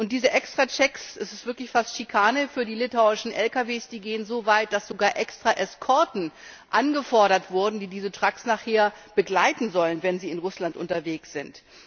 Diese Extrachecks das ist wirklich fast Schikane für die litauischen Lkws gehen so weit, dass sogar Extra Eskorten angefordert wurden, die diese Trucks nachher begleiten sollen, wenn sie in Russland unterwegs sind.